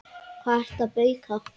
Hvað ertu að bauka?